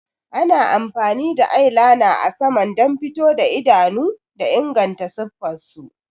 Ana amfani da eyeliner a saman don fito idanu da inganta siffar su.